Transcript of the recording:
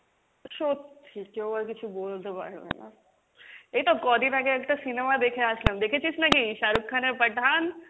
সত্যি কেও আর কিছু বলতে পারবে না, এই তো কদিন আগে একটা cinema দেখে আসলাম দেখেছিস নাকি, শাহরুখ খানের পাঠান?